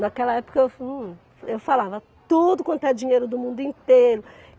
Naquela época eu hum eu falava tudo quanto é dinheiro do mundo inteiro.